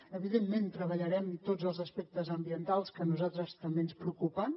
evidentment treballarem tots els aspectes ambientals que a nosaltres també ens preocupen